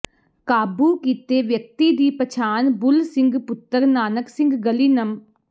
ਕਾਬੂ ਕੀਤੇ ਵਿਅਕਤੀ ਦੀ ਪਛਾਣ ਬੁਲ ਸਿੰਘ ਪੁੱਤਰ ਨਾਨਕ ਸਿੰਘ ਗਲੀ ਨੰ